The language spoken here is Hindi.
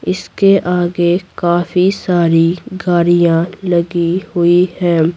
इसके आगे काफी सारी गाड़ियाँ लगी हुई हैं।